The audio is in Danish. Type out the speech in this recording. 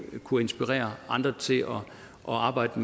kunne inspirere andre til at arbejde